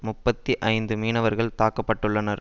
முப்பத்தி ஐந்து மீனவர்கள் தாக்க பட்டுள்ளனர்